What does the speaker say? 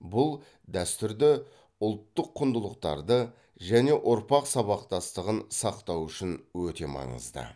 бұл дәстүрді ұлттық құндылықтарды және ұрпақтар сабақтастығын сақтау үшін өте маңызды